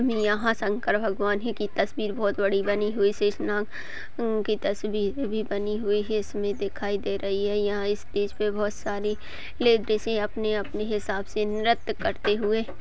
यहाँ शंकर भगवान की तस्वीर बहोत बड़ी बनी हुई शेष नाग की तस्वीर भी बानी हुई है इसमें दिखाई दे रही हैं। यहाँ स्टेज पे बहुत सारी लेडीजे अपने -अपने हिसाब से नृत्य करते हुए--